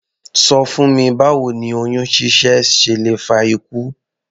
Ṣọ fún mi báwo ni oyún ṣíṣẹ́ ṣe lè fa ikú?